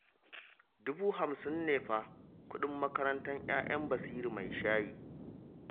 Dubu hamsin ne fa kuɗin makarantar 'ya'yan Basiru mai shayi